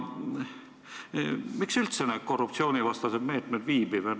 Miks üldse korruptsioonivastased meetmed viibivad?